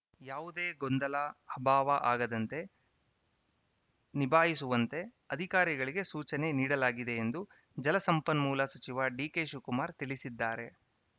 ಯಾವುದೇ ಗೊಂದಲ ಅಭಾವ ಆಗದಂತೆ ನಿಭಾಯಿಸುವಂತೆ ಅಧಿಕಾರಿಗಳಿಗೆ ಸೂಚನೆ ನೀಡಲಾಗಿದೆ ಎಂದು ಜಲಸಂಪನ್ಮೂಲ ಸಚಿವ ಡಿಕೆಶಿವಕುಮಾರ್‌ ತಿಳಿಸಿದ್ದಾರೆ